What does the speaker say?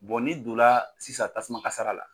n'i don la sisan tasuma kasara la